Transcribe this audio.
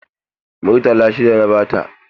Murtala shida na ba ta.